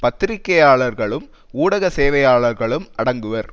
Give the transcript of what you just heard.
பத்திரிகையாளர்களும் ஊடக சேவையாளர்களும் அடங்குவர்